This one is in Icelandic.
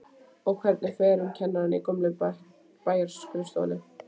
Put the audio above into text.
Og hvernig fer um kennarana í gömlu bæjarskrifstofunum?